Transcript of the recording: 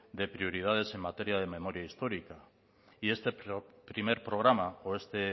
de prioridades en materia de memoria histórica y este primer programa o este